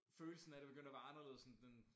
Følelsen af det begyndte at være anderledes end den